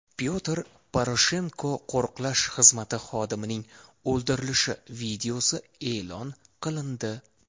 Pyotr Poroshenko qo‘riqlash xizmati xodimining o‘ldirilishi videosi e’lon qilindi.